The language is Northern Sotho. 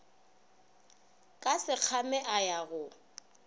ka sekgame a ya go